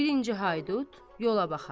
Birinci haydud yola baxar.